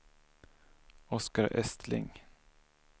Oscar Östling